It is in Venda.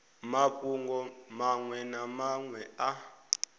mafhungo maṅwe na maṅwe a